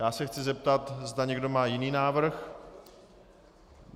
Já se chci zeptat, zda někdo má jiný návrh.